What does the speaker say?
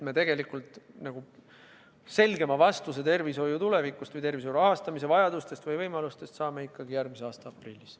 Me saame selgema vastuse tervishoiu tuleviku või tervishoiu rahastamise vajaduste ja võimaluste kohta ikkagi järgmise aasta aprillis.